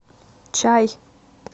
чай